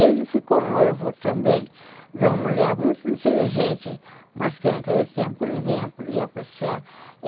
Ele ficou noivo também de uma mulher muito inteligente, mas que naquele tempo ninguém ia ia apreciar.